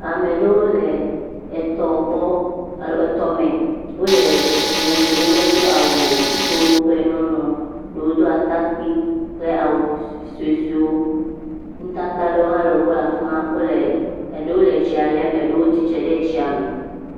Ame aɖewo le etɔ gbɔ e etɔ me. Wo le etsi lém. Medo awu o. Ŋutsuwo kple nyɔnuwo. Ɖewo do atakpui kple awuvi sɔsɔwo. Nutata aɖewo hã le wo gbɔ le afi ma. Wo le eɖewo le etsia ɖem eɖewo tsitre ɖe tsia me.